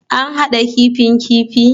An hada kifin kifi?